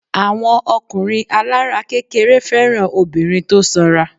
Àwọn ọkùnrin alára kékeré fẹ́ràn obìnrin tó sanra.